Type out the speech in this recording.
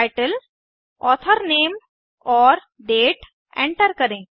title author name और date enter करें